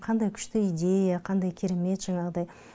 қандай күшті идея қандай керемет жаңағыдай